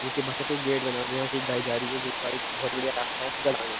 जिसके बाहर पे एक गेट बना हुआ है यहाँ से एक गाय जा रही है बहोत बढ़िया रास्ता है सीधा जाने का।